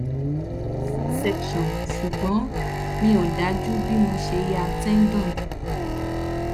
mo ní cs] c section ṣùgbọ́n mi ò dájú bí mo ṣe ya tendon